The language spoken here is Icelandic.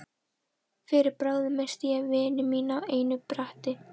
Fyrir bragðið missti ég vini mína á einu bretti.